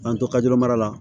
K'an to kajuru mara la